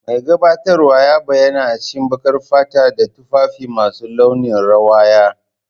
Mai gabatarwa ya bayyana a cikin baƙar fata da tufafi masu launin rawaya.